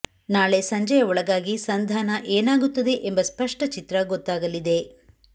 ನಾಳೆ ಸಂಜೆಯ ಒಳಗಾಗಿ ಸಂಧಾನ ಏನಾಗುತ್ತದೆ ಎಂಬ ಸ್ಪಷ್ಟ ಚಿತ್ರ ಗೊತ್ತಾಗಲಿದೆ